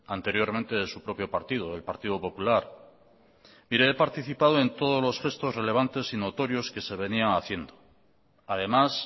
anteriormente de su propio partido el partido popular mire he participado en todos los gestos relevantes y notorios que se venían haciendo además